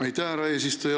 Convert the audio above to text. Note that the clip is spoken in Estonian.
Aitäh, härra eesistuja!